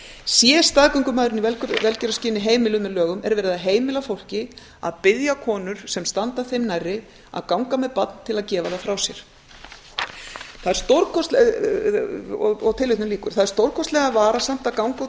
sé staðgöngumæðrun í velgjörðarskyn heimiluð með lögum er verið að heimila fólki að biðja konur sem standa þeim nærri að ganga með barn til að gefa það frá sér það er stórkostlega varasamt að ganga út